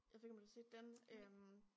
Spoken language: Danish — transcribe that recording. Jeg ved ikke om du har set den øh